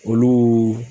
Olu